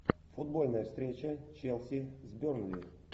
футбольная встреча челси с бернли